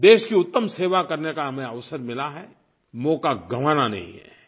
देश की उत्तम सेवा करने का हमें अवसर मिला है मौक़ा गंवाना नहीं है